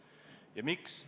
Ja miks?